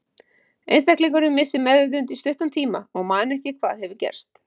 einstaklingurinn missir meðvitund í stuttan tíma og man ekki hvað hefur gerst